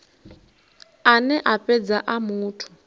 ane a fhedza a muthu